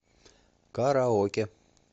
караоке